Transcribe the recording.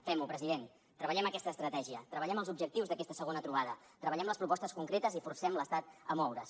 fem ho president treballem aquesta estratègia treballem els objectius d’aquesta segona trobada treballem les propostes concretes i forcem l’estat a moure’s